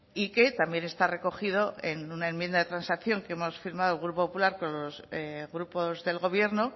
y que también está recogido en una enmienda de transacción que hemos firmado el grupo popular con los grupos del gobierno